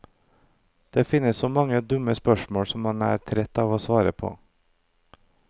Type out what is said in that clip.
Det finnes så mange dumme spørsmål som han er trett av å svare på.